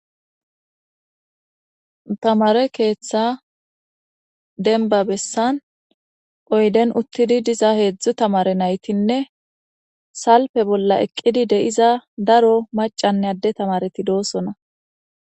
Thamaare keththaa dembba bessan oyden uththidi diza heezzu thamare na7ithinne salppe bolla eqqidi de7iza daro maccanne adde thamaarethi doosona.